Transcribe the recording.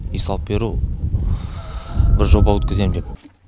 үй салып беру бір жоба өткізем деп